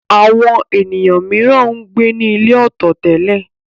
Àwọn ènìyàn mìíràn ń gbé nílé ọ̀tọ̀ tẹ́lẹ̀.